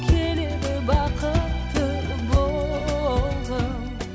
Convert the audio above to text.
келеді бақытты болғым